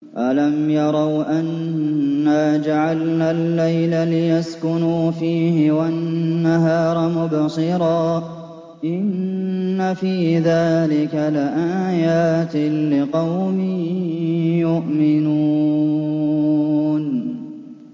أَلَمْ يَرَوْا أَنَّا جَعَلْنَا اللَّيْلَ لِيَسْكُنُوا فِيهِ وَالنَّهَارَ مُبْصِرًا ۚ إِنَّ فِي ذَٰلِكَ لَآيَاتٍ لِّقَوْمٍ يُؤْمِنُونَ